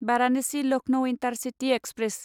Varanasi Lucknow intercity express